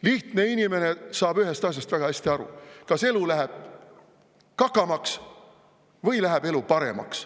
Lihtne inimene saab ühest asjast väga hästi aru: kas elu läheb kakamaks või läheb elu paremaks.